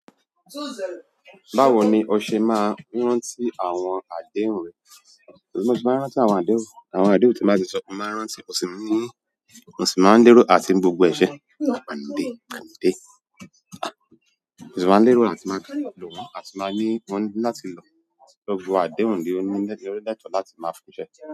Báwo ni o ṣe máa ń rántí àwọn àdéhùn rẹ? Mo ti máa ń rántí àwọn àdéhùn. Àwọn àdéhùn tí mo bá ti sọ, mo máa ń rántí. Mo sì máa ń dúró àti gbogbo ẹ̀ ṣẹ̀, maa panu dé, panu dé. Mo sì máa ń lérò àti máa lò wọ́n, àti máa ní wọ́n láti lọ. Gbogbo àdéhùn ni ó ní ló lẹ́tọ̀ọ́ láti máa fún un ṣẹ.